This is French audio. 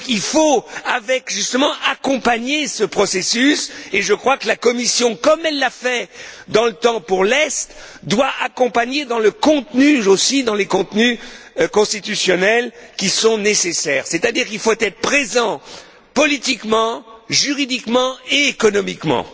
Il faut donc accompagner ce processus et je crois que la Commission, comme elle l'a fait dans le temps pour l'Est, doit proposer son aide dans les contenus constitutionnels qui sont nécessaires, c'est à dire qu'il faut être présent politiquement, juridiquement et économiquement.